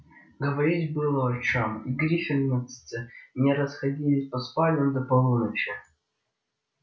говорить было о чём и гриффиндорцы не расходились по спальням до полуночи